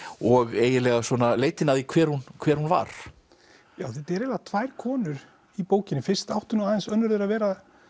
og eiginlega svona leitina að því hver hún hver hún var þetta eru eiginlega tvær konur í bókinni fyrst átti nú aðeins önnur þeirra að vera